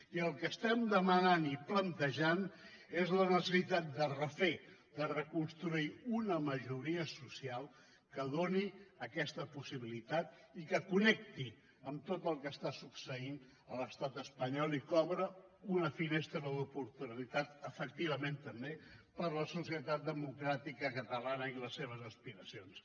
i el que estem demanant i plantejant és la necessitat de refer de reconstruir una majoria social que doni aquesta possibilitat i que connecti amb tot el que està succeint a l’estat espanyol i que obre una finestra d’oportunitat efectivament també per a la societat democràtica catalana i les seves aspiracions